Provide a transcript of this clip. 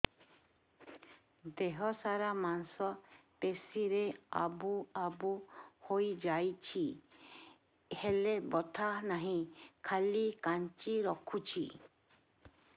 ଦେହ ସାରା ମାଂସ ପେଷି ରେ ଆବୁ ଆବୁ ହୋଇଯାଇଛି ହେଲେ ବଥା ନାହିଁ ଖାଲି କାଞ୍ଚି ରଖୁଛି